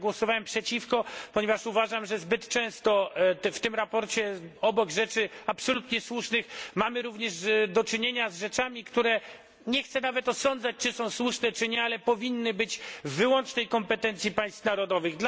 Jednak głosowałem przeciw sprawozdaniu, ponieważ uważam, że zbyt często obok rzeczy absolutnie słusznych mamy w nim również do czynienia z rzeczami, które nie chcę nawet osądzać, czy są słuszne, czy nie, ale powinny one być w wyłącznej kompetencji państw narodowych.